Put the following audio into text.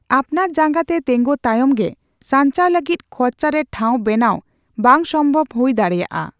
ᱟᱯᱱᱟᱨ ᱡᱟᱸᱜᱟᱛᱮ ᱛᱟᱸᱜᱤ ᱛᱟᱭᱚᱢ ᱜᱮ ᱥᱟᱸᱧᱪᱟᱣ ᱞᱟᱜᱤᱫ ᱠᱷᱚᱨᱪᱟ ᱨᱮ ᱴᱷᱟᱣ ᱵᱮᱱᱟᱣ ᱵᱟᱝᱥᱚᱢᱵᱷᱚᱵ ᱦᱩᱭ ᱫᱟᱲᱮᱭᱟᱼᱟ ᱾